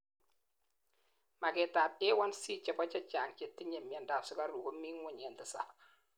maget ab A1C chebo chechang chetinyei miandap sugaruk komi ngweny en tisab